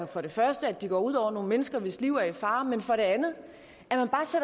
for det første at de går ud over nogle mennesker hvis liv er i fare men for det andet